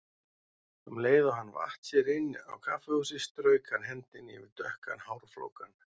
Um leið og hann vatt sér inn á kaffihúsið strauk hann hendinni yfir dökkan hárflókann.